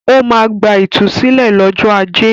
Ó máa gba ìtúsílẹ̀ lọ́jọ́ ajé.